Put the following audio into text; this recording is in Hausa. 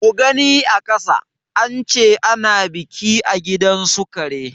Mugani a ƙasa, ance ana biki a gidansu kare.